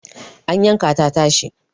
an yanka ta tashi